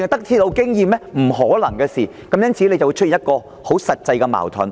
"由於這是不可能的事，因此便會產生實際矛盾。